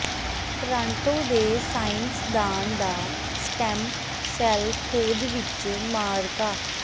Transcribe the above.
Toronto ਦੇ ਸਾਇੰਸਦਾਨ ਦਾ ਸਟੈੱਮ ਸੈੱਲ ਖੋਜ ਵਿਚ ਮਾਅਰਕਾ